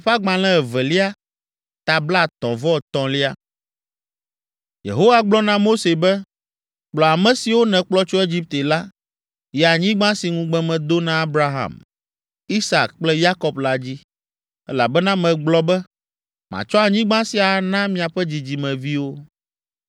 Yehowa gblɔ na Mose be, “Kplɔ ame siwo nèkplɔ tso Egipte la, yi anyigba si ŋugbe medo na Abraham, Isak kple Yakob la dzi, elabena megblɔ be, ‘Matsɔ anyigba sia ana miaƒe dzidzimeviwo.’